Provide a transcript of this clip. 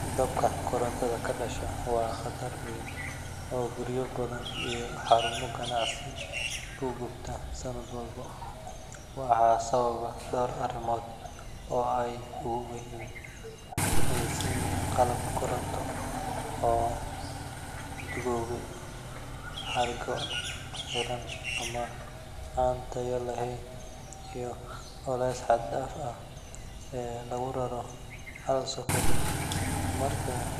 Dabka korontada ka dhasha waa khatar weyn oo guryo badan iyo xarumo ganacsi ku gubta sanad walba, waxaana sababa dhowr arrimood oo ay ugu horreeyaan qalab koronto oo duugoobay, xargo xiran ama aan tayo lahayn, iyo culayska xad dhaafka ah ee lagu raro hal socket. Marka